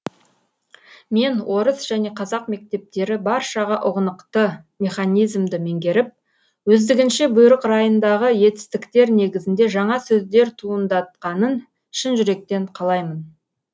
мен орыс және қазақ мектептері баршаға ұғынықты механизмді меңгеріп өздігінше бұйрық райындағы етістіктер негізінде жаңа сөздер туындатқанын шын жүректен қалаймын